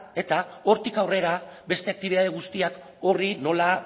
eta hortik aurrera beste aktibitate guztiak horri nola